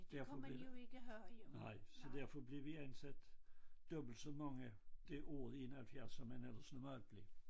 Ja for nej så derfor blev vi ansat dobbelt så mange det år 71 end man ellers normalt blev